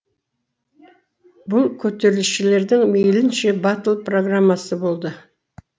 бұл көтерілісшілердің мейлінше батыл программасы болды